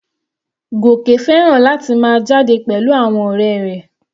Goke fẹ́ràn láti máa jáde pẹ̀lú àwọn ọ̀rẹ́ rẹ̀.